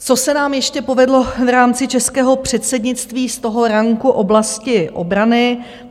Co se nám ještě povedlo v rámci českého předsednictví z toho ranku oblasti obrany.